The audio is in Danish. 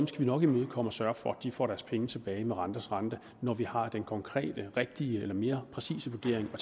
skal vi nok imødekomme og sørge for får deres penge tilbage med renters rente når vi har den konkrete rigtige eller mere præcise vurdering at